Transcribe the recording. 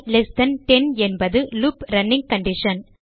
இல்ட்10 என்பது loop running condition